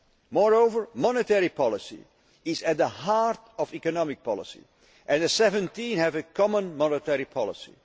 that. Moreover, monetary policy is at the heart of economic policy, and the 17 have a common monetary